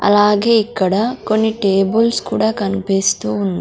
అలాగే ఇక్కడ కొన్ని టేబుల్స్ కూడా కన్పిస్తూ ఉన్--